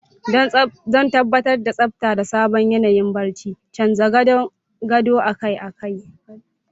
Don tabbatar da tsabta da sabon yanayin barci, canza gadon gado akai-akai.